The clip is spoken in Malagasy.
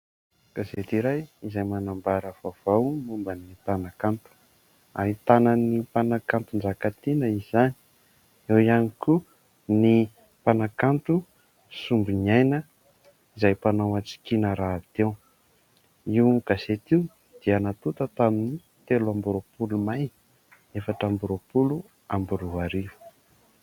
Gazety iray izay manambara vaovao momba ny mpanakanto ; ahitana ny mpanakanto Njakatiana izany, eo ihany koa ny mpanakanto Sombiniaina, izay mpanao hatsikana rahateo. Io gazety io dia natota tamin'ny telo amby roapolo May, efatra amby roapolo amby roa arivo.